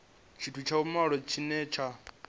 tshithu tsha vhumalo tshine tsha